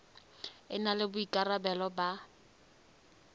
e na le boikarabelo ba